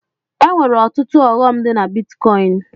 E nwere ọtụtụ ọghọm dị na bitkọin.